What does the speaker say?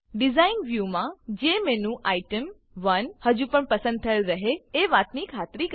design design વ્યુમાં જેમેન્યુટેમ1 હજુ પણ પસંદ થયેલ રહે એ વાતની ખાતરી કરી લો